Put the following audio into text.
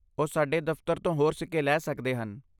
ਉਹ ਸਾਡੇ ਦਫ਼ਤਰ ਤੋਂ ਹੋਰ ਸਿੱਕੇ ਲੈ ਸਕਦੇ ਹਨ।